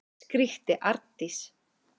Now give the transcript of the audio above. skríkti Arndís.